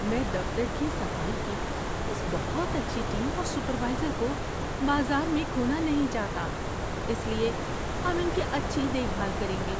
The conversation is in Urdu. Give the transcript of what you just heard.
میں دفتر کی صفائی کی اس بہت اچھی ٹیم اور سپروائزر کو بازار میں کھونا نہیں چاہتا۔ اس لیے ہم ان کی اچھی دیکھ بھال کریں گے۔